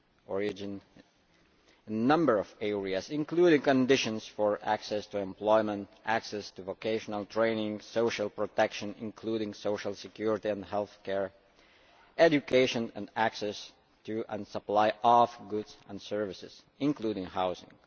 origin in a number of areas, including conditions for access to employment, access to vocational training, social protection, including social security and health care, education, and access to and the supply of goods and services, including housing.